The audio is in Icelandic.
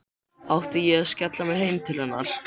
Átti ég að skella mér heim til hennar?